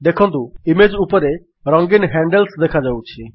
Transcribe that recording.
ଦେଖନ୍ତୁ ଇମେଜ୍ ଉପରେ ରଙ୍ଗିନ୍ ହ୍ୟାଣ୍ଡଲ୍ସ ଦେଖାଯାଉଛି